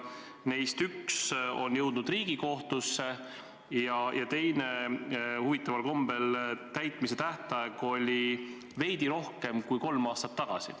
Neist üks on jõudnud Riigikohtusse ja teise täitmise tähtaeg oli huvitaval kombel veidi rohkem kui kolm aastat tagasi.